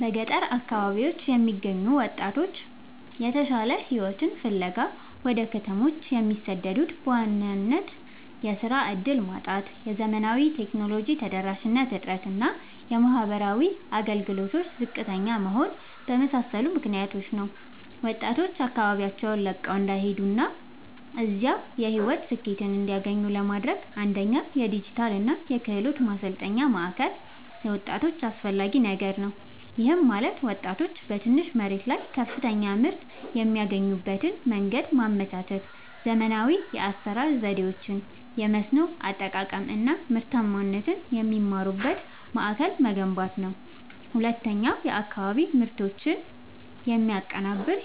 በገጠር አካባቢዎች የሚገኙ ወጣቶች የተሻለ ሕይወትን ፍለጋ ወደ ከተሞች የሚሰደዱት በዋናነት የሥራ ዕድል ማጣት፣ የዘመናዊ ቴክኖሎጂ ተደራሽነት እጥረት እና የማኅበራዊ አገልግሎቶች ዝቅተኛ መሆን በመሳሰሉ ምክኒያቶች ነው። ወጣቶች አካባቢያቸውን ለቀው እንዳይሄዱና እዚያው የሕይወት ስኬትን እንዲያገኙ ለማድረግ፣ አንደኛ የዲጂታልና የክህሎት ማሠልጠኛ ማእከል ለወጣቶች አስፈላጊ ነገር ነው። ይህም ማለት ወጣቶች በትንሽ መሬት ላይ ከፍተኛ ምርት የሚያገኙበትን መንገድ ማመቻቸት፣ ዘመናዊ የአሠራር ዘዴዎችን፣ የመስኖ አጠቃቀም አናምርታማነትን የሚማሩበት ማእከል መገንባት አለበት። ሁለተኛው የአካባቢ ምርቶችን የሚያቀናብር